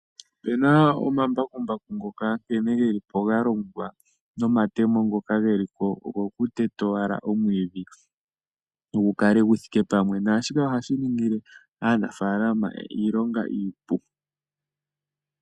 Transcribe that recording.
Opena omambakumbaku ngoka nkene geli po galongwa nomatemo ngoka geli po ogo kuteta owala omwiidhi gu kale gu thike pamwe. Naa shika ohashi ningile aanafalama iilonga iipu.